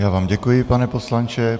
Já vám děkuji, pane poslanče.